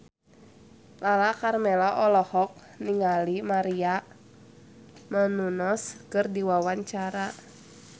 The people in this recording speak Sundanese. Lala Karmela olohok ningali Maria Menounos keur diwawancara